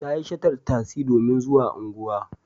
Ta yi shatar tasi domin zuwa unguwa.